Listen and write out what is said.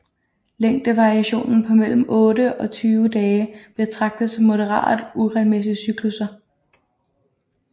Længdevariation på mellem otte og 20 dage betragtes som moderat uregelmæssige cyklusser